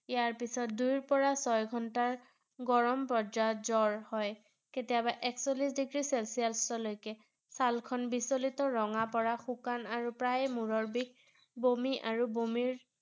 ইয়াৰ পিছত দুইৰ পৰা ছয় ঘণ্টাৰ গৰম পৰ্যায়ত জ্বৰ হয়৷ কেতিয়াবা একচল্লিছ degree celsius -ৰ লৈকে ছালখন বিচলিত ৰঙা পৰা শুকান আৰু প্ৰায় মূৰৰ বিষ, বমি আৰু বমিৰ